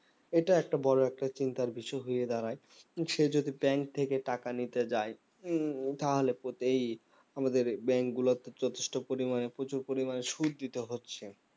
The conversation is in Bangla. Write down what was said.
এটা একটা বড়ো একটা চিন্তার বিষয় হয়ে দাঁড়ায় সে যদি bank থেকে টাকা নিতে যায় তাহলে প্রতেই আমাদের bank গুলোতে যথেষ্ট পরিমানে প্রচুর পরিমানে সুদ দিতে হচ্ছে